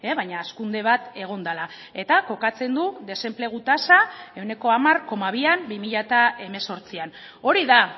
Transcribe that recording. baina hazkunde bat egon dela eta kokatzen du desenplegu tasa ehuneko hamar koma bian bi mila hemezortzian hori da